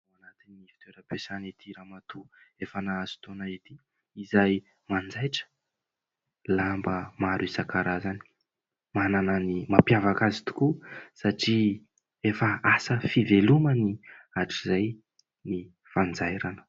Ao anatiny ity toeram-piasana ity ramatoa efa nahazo taona ity izay manjaitra lamba maro isan-karazany. Manana ny mampiavaka azy tokoa satria efa asa fivelomany hatrizay ny fanjairana.